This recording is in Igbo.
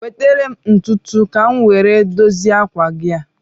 Nwetere m ntutu ka m nwere a dozie akwa gi a